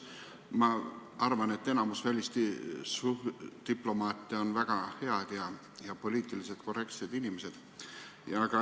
Ma arvan, et enamik välisdiplomaate on väga head ja poliitiliselt korrektsed inimesed.